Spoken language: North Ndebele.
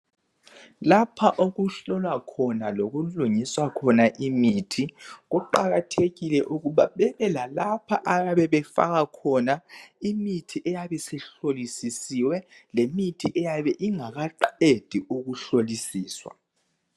Lapha okuhlolwa khona lokulungiswa khona imithi kuqakathekile ukuba babe lalapha ababe befaka khona imithi eyabe isishlolisisiwe lemithi eyabe ingakaqedi ukuhlolisiswa